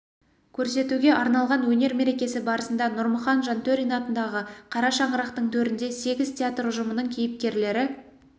көрсетуге арналған өнер мерекесі барысында нұрмұхан жантөрин атындағы қара шаңырақтың төрінде сегіз театр ұжымының кейіпкерлері